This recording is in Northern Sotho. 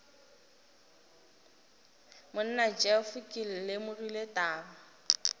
monna jeff ke lemogile taba